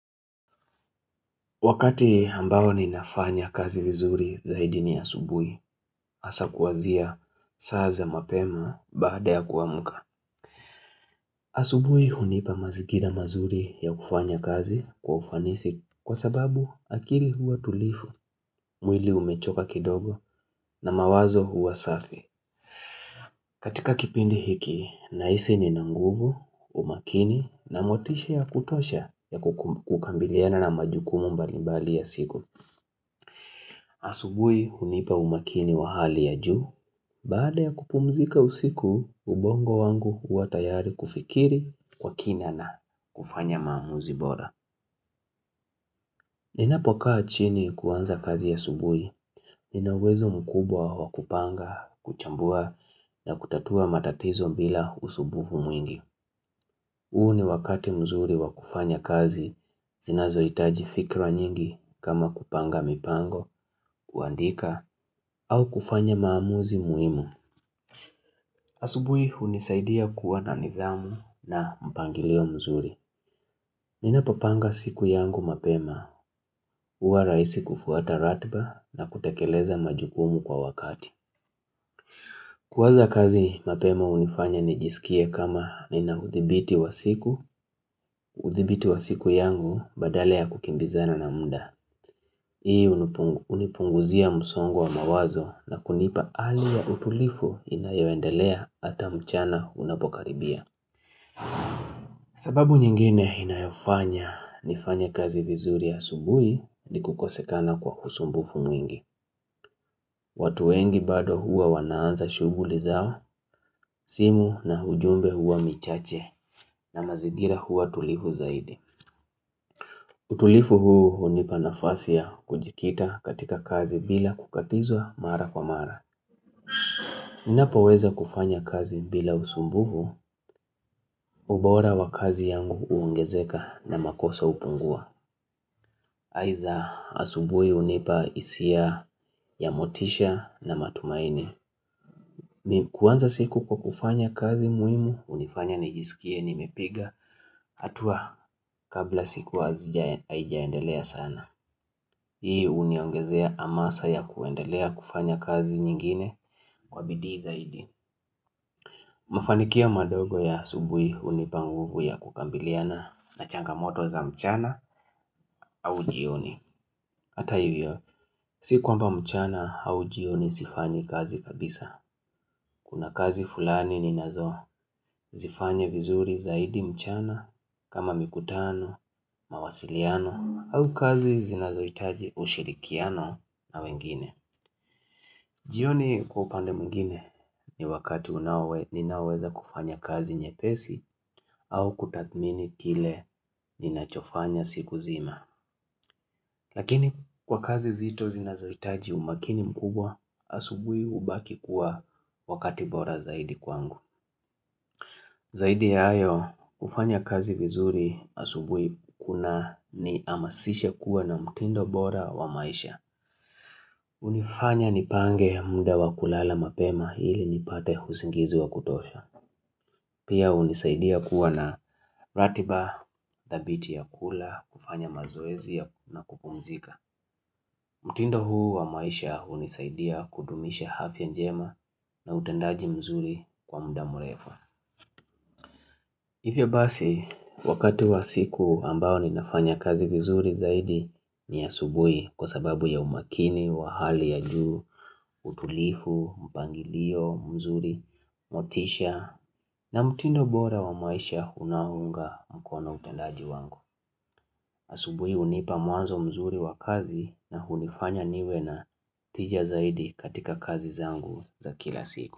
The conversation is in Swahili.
Wakati ambao ninafanya kazi vizuri zaidi ni asubuhi, asa kuwazia saa za mapema baada ya kuamuka. Asubuhi hunipa mazikida mazuri ya kufanya kazi kwa ufanisi kwa sababu akili huwa tulifu, mwili umechoka kidogo na mawazo huwa safi. Katika kipindi hiki, nahisi ninanguvu, umakini na motisha ya kutosha ya kukambiliana na majukumu mbalimbali ya siku. Asubui hunipa umakini wa hali ya juu, baada ya kupumzika usiku, ubongo wangu huwa tayari kufikiri kwa kina na kufanya maamuzi bora. Ninapokaa chini kuwanza kazi asubui, nina uwezo mkubwa wa kupanga, kuchambua na kutatua matatizo bila usubufu mwingi. Huu ni wakati mzuri wa kufanya kazi, zinazohitaji fikra nyingi kama kupanga mipango, kuandika, au kufanya maamuzi muimu. Asubui hunisaidia kuwa na nidhamu na mpangilio mzuri. Ninapopanga siku yangu mapema, uwa raisi kufuata ratba na kutekeleza majukumu kwa wakati. Kuwaza kazi mapema unifanya nijisikie kama ni na uthibiti wa siku, uthibiti wa siku yangu badala kukimbizana na muda. Hii unipunguzia msongo wa mawazo na kunipa ali ya utulifu inayoendelea ata mchana unapokaribia. Sababu nyingine inayofanya, nifanya kazi vizuri ya subui ni kukosekana kwa kusumbufu mwingi. Watu wengi bado huwa wanaanza shuguli zao, simu na ujumbe huwa michache na mazigira huwa tulifu zaidi. Utulifu huu unipa nafasia kujikita katika kazi bila kukatizwa mara kwa mara. Napaweza kufanya kazi bila usumbuvu, ubora wa kazi yangu uungezeka na makosa upungua. Haitha asubui unipa isia ya motisha na matumaini. Mikuwanza siku kwa kufanya kazi muimu, unifanya nijisikie nimepiga hatua kabla siku wazi aijaendelea sana Hii uniongezea amasa ya kuendelea kufanya kazi nyingine kwa bidi zaidi Mafanikia madogo ya asubui hunipa nguvu ya kukambiliana na changamoto za mchana au jioni Hata hivyo, si kwamba mchana au jioni sifanyi kazi kabisa Kuna kazi fulani ninazozifanye vizuri zaidi mchana kama mikutano, mawasiliano au kazi zinazoitaji ushirikiano na wengine. Jioni kupande mungine ni wakati unawe ninaweza kufanya kazi nyepesi au kutathmini kile ninachofanya siku zima. Lakini kwa kazi zito zinazoitaji umakini mkubwa asubui ubaki kuwa wakati bora zaidi kwangu. Zaidi ya ayo, kufanya kazi vizuri asubui kunaniamasishe kuwa na mtindo bora wa maisha. Unifanya nipange mda wa kulala mapema hili nipate huzingizi wa kutosha. Pia unisaidia kuwa na ratiba, dhabiti ya kula, kufanya mazoezia na kukumzika. Mtindo huu wa maisha hunisaidia kudumisha afya njema na utendaji mzuri kwa mda mwerefa. Hivyo basi, wakati wa siku ambao ninafanya kazi vizuri zaidi ni asubui kwa sababu ya umakini, wa hali ya juu, utulifu, mpangilio, mzuri, motisha na mtindo bora wa maisha unaounga mkono utendaji wangu. Asubui unipa muanzo mzuri wa kazi na unifanya niwe na tija zaidi katika kazi zangu za kila siku.